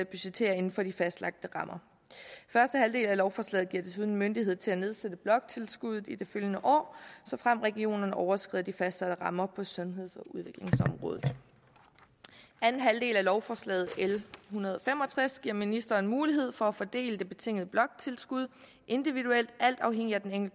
budgetterer inden for de fastlagte rammer lovforslaget giver desuden myndighed til at nedsætte bloktilskuddet i det følgende år såfremt regionerne overskrider de fastsatte rammer på sundheds og udviklingsområdet det andet lovforslag l en hundrede og fem og tres giver ministeren mulighed for at fordele det betingede bloktilskud individuelt alt afhængigt af den